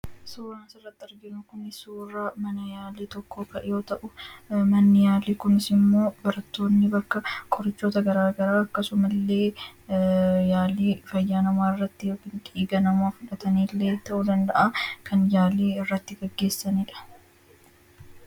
Suuraan asirratti arginu kun suuraa mana yaalii tokkoo yoo ta'u, manni yaalii kunis immoo barattoonni bakka qorichoota garaagaraa akkasuma illee yaalii fayyaa namaa irratti ( dhiiga namaa fudhatanii illee) ta'uu danda'aa; kan yaalii irratti geggeessani dha.